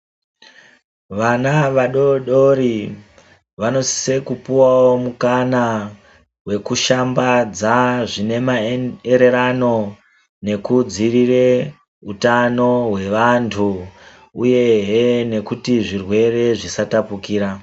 Vana vadodori vanosise kupuwawo mukana wekushambadza zvinemaererano nekudzirire utano hwevanhu uyehe nekuti zvirwere zvisatapukira.